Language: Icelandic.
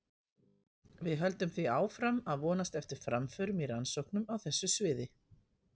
við höldum því áfram að vonast eftir framförum í rannsóknum á þessu sviði